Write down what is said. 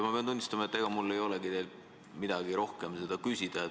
Ma pean tunnistama, et ega mul ei olegi teilt midagi rohkem küsida.